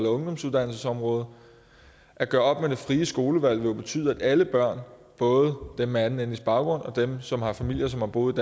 ungdomsuddannelsesområdet at gøre op med det frie skolevalg vil jo betyde at alle børn både dem med anden etnisk baggrund og dem som har familie som har boet